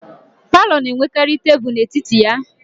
Palọ na-enwekarị tebulu n'etiti ya